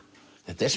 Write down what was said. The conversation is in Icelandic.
þetta er